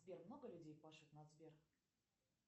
сбер много людей пашет на сбер